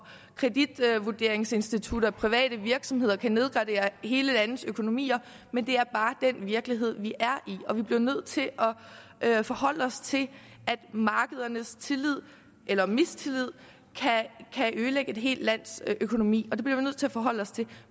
kreditvurderingsinstitutter og private virksomheder kan nedgradere hele landenes økonomier men det er bare den virkelighed vi er i og vi bliver nødt til at forholde os til at markedernes tillid eller mistillid kan ødelægge et helt lands økonomi det bliver vi nødt til at forholde os til